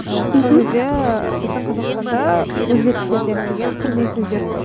ыыы мхм сол кезде біздің қазақстанда өзге тілдерден кірген кірме сөздер көп